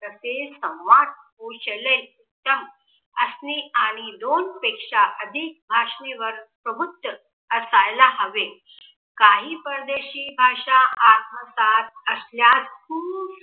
तसेच संवाद कौशल्य असणे, आणि दोन पेक्षा अधिक भाषेवर प्रभुत्व असायला हवे. काही परदेशी भाषा आत्मसात असल्यास खूप